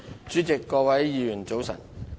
主席，各位議員，早晨。